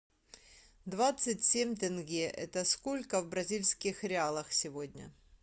двадцать семь тенге это сколько в бразильских реалах сегодня